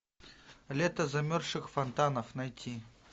лето замерзших фонтанов найти